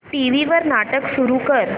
TV वर नाटक सुरू कर